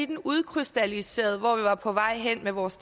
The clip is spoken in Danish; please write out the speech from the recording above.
den udkrystalliserede hvor vi var på vej hen med vores